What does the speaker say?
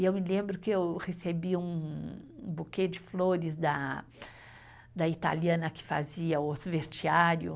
E eu me lembro que eu recebi um, um buquê de flores da da italiana que fazia os vestiário.